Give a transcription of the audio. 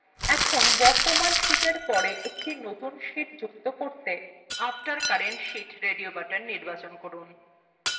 এখন বর্তমান sheetএর পর একটি নতুন sheet যুক্ত করতে radio buttona after current sheet নির্বাচন করুন